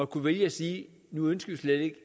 kunne vælge at sige nu ønsker vi slet ikke